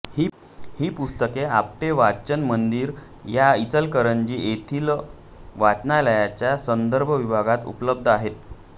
ही पुस्तके आपटे वाचन मंदिर या इचलकरंजी येथील वाचनालयाच्या संदर्भ विभागात उपलब्ध आहेत